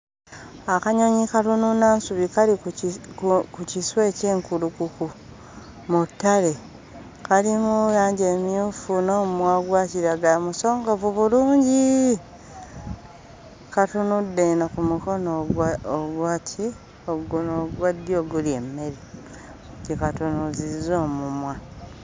Akanyonyi akanuunansubi kali ku kiswa eky'enkulukuku mu ttale. Kalimu langi emmyufu n'omumwa ogwa kiragala, musongovu bulungi. Katunudde eno ku mukono ogwa ogwa ki? Guno ogwa ddyo ogulya emmere, gye katunuuzizza omumwa.